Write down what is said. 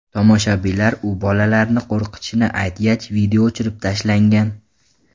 Tomoshabinlar u bolalarni qo‘rqitishini aytgach, video o‘chirib tashlangan .